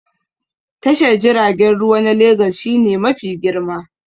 Tashar jiragen ruwa na Legas shi ne mafi girma